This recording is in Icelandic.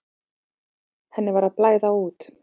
Henni var að blæða út.